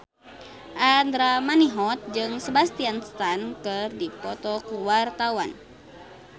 Andra Manihot jeung Sebastian Stan keur dipoto ku wartawan